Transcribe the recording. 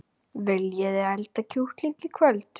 Viljiði elda kjúkling í kvöld?